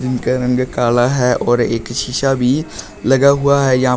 इनका रंग काला है और एक शीशा भी लगा हुआ है यहां पर--